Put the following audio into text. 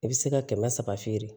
I bɛ se ka kɛmɛ saba feere